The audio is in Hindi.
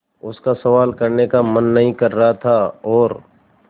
उसका सवाल करने का मन नहीं कर रहा था और